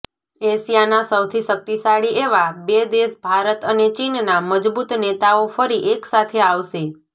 એશિયાના સૌથી શક્તિશાળી એવા બે દેશ ભારત અને ચીનના મજબૂત નેતાઓ ફરી એકસાથે આવશે